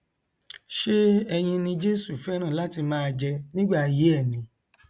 ṣé ẹyin ni jesu fẹràn láti máa jẹ nígbà ayé ẹ ni